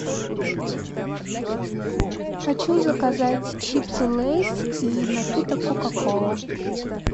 хочу заказать чипсы лейс и напиток кока кола